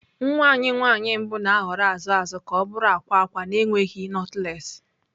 Nwa anyị nwanyị mbụ na-ahọrọ azụ azụ ka ọ bụrụ akwa akwa na-enweghị knotless.